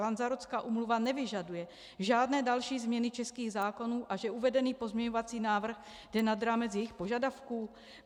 Lanzarotská úmluva nevyžaduje žádné další změny českých zákonů a že uvedený pozměňovací návrh jde nad rámec jejich požadavků?